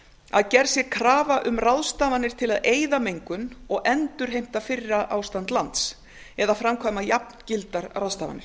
að gerð sé krafa um ráðstafanir til að eyða mengun og endurheimta fyrra ástand lands eða framkvæma jafngildar ráðstafanir